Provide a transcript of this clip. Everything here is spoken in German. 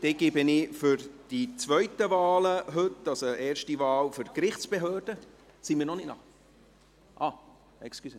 Dann gebe ich für die zweiten Wahlen heute, also die erste Wahl für die Gerichtsbehörden …– Sind wir noch nicht bereit?